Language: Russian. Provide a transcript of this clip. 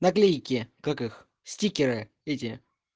наклейки как их стикеры эти